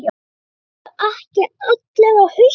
Eru ekki allir á hausnum?